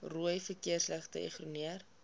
rooi verkeersligte ignoreer